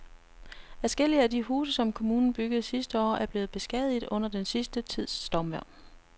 Adskillige af de huse, som kommunen byggede sidste år, er blevet beskadiget under den sidste tids stormvejr.